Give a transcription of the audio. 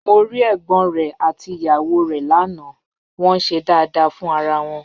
Mo rí ẹ̀gbọ́n rẹ̀ àti ìyàwó rẹ̀ lánàá, wọ́n ń ṣe dáadáa fún ara wọn